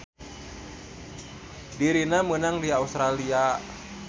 Dirina meunang di Australia.